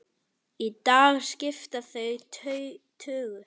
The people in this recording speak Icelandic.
Í dag skipta þau tugum.